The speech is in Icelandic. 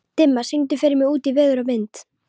Dimma, syngdu fyrir mig „Út í veður og vind“.